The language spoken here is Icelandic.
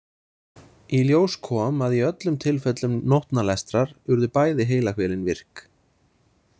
Í ljós kom að í öllum tilfellum nótnalestrar urðu bæði heilahvelin virk.